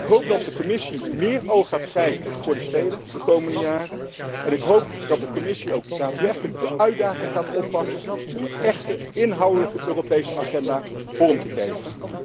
Ik hoop dat de Commissie meer oog gaat krijgen voor de steden de komende jaren en ik hoop dat de Commissie ook daadwerkelijk de uitdaging gaat oppakken om een echte Europese stedelijke agenda inhoudelijk vorm te geven.